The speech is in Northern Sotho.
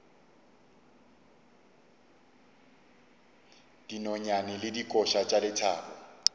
dinonyane le dikoša tša lethabo